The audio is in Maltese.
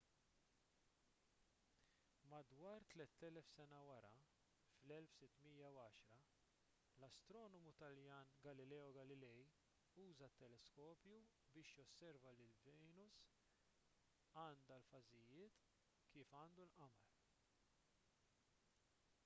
madwar tlett elef sena wara fl-1610 l-astronomu taljan galileo galilei uża teleskopju biex josserva li venus għandha l-fażijiet kif għandu l-qamar